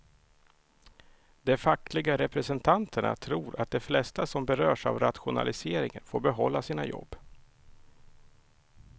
De fackliga representanterna tror att de flesta som berörs av rationaliseringen får behålla sina jobb.